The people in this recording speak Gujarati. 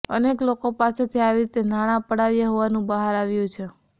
અનેક લોકો પાસેથી આવી રીતે નાણાં પડાવ્યા હોવાનું બહાર આવ્યું છે